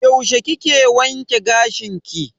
Yaushe kike wanke gashin ki?